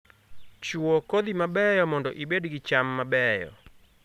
Chuo kodhi mabeyo mondo ibed gi cham mabeyo